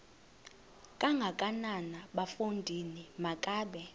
kangakanana bafondini makabe